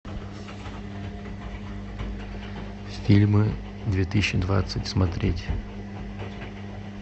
фильмы две тысячи двадцать смотреть